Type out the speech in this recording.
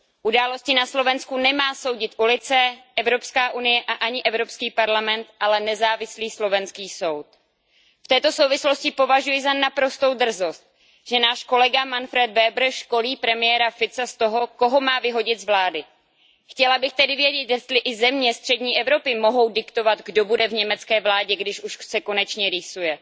Události na Slovensku nemá soudit ulice, Evropská unie a ani Evropský parlament, ale nezávislý slovenský soud. V této souvislosti považuji za naprostou drzost, že náš kolega Manfred Weber školí premiéra Fica z toho, koho má vyhodit z vlády. Chtěla bych tedy vědět, jestli i země střední Evropy mohou diktovat, kdo bude v německé vládě, když už se konečně rýsuje.